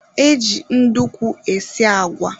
E ji ndukwu esi agwa